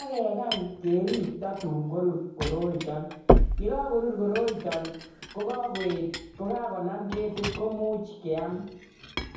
akekany kototun ko kerib kotatun korur si komuch keam